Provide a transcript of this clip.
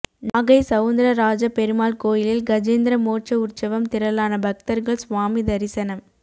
நாகை சவுந்தரராஜ பெருமாள் கோயிலில் கஜேந்திர மோட்ச உற்சவம் திரளான பக்தர்கள் சுவாமி தரிசனம்